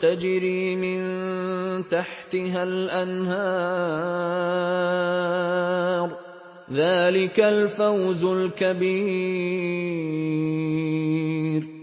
تَجْرِي مِن تَحْتِهَا الْأَنْهَارُ ۚ ذَٰلِكَ الْفَوْزُ الْكَبِيرُ